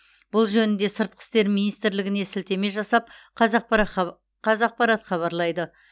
бұл жөнінде сыртқы істер министрлігіне сілтеме жасап қазақпарат хабарлайды